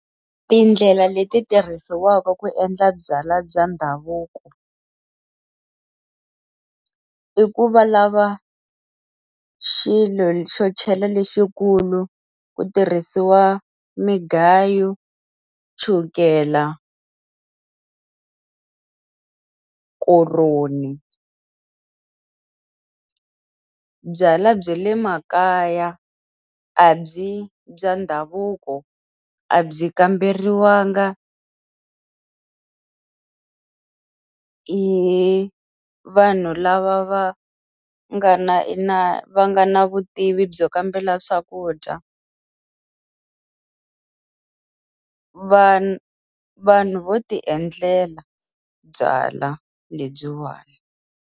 Tindlela leti tirhisiwaka ku endla byalwa bya ndhavuko. I ku va lava xilo xo chela lexikulu, ku tirhisiwa migayo, chukela koroni. Byalwa bya le makaya a byi bya ndhavuko a byi kamberiwanga hi vanhu lava va nga na na va nga na vutivi byo kambela swakudya vanhu vo ti endlela byalwa lebyiwani.